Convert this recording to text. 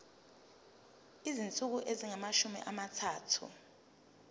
izinsuku ezingamashumi amathathu